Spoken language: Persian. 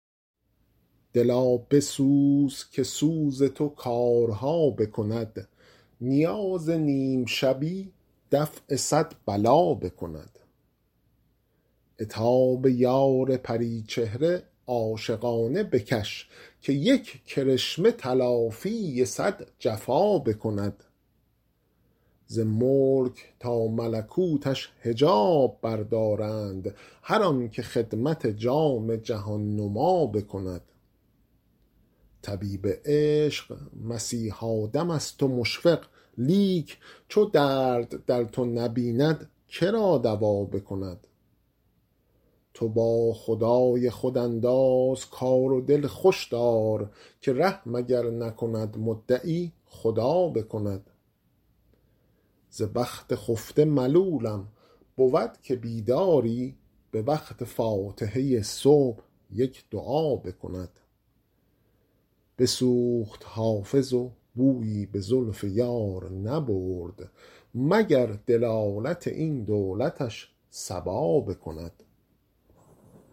دلا بسوز که سوز تو کارها بکند نیاز نیم شبی دفع صد بلا بکند عتاب یار پری چهره عاشقانه بکش که یک کرشمه تلافی صد جفا بکند ز ملک تا ملکوتش حجاب بردارند هر آن که خدمت جام جهان نما بکند طبیب عشق مسیحا دم است و مشفق لیک چو درد در تو نبیند که را دوا بکند تو با خدای خود انداز کار و دل خوش دار که رحم اگر نکند مدعی خدا بکند ز بخت خفته ملولم بود که بیداری به وقت فاتحه صبح یک دعا بکند بسوخت حافظ و بویی به زلف یار نبرد مگر دلالت این دولتش صبا بکند